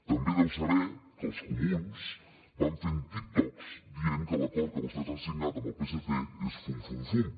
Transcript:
també deu saber que els comuns van fent tiktoks dient que l’acord que vostès han signat amb el psc és fum fum fum